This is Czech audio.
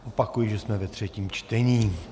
Opakuji, že jsme ve třetím čtení.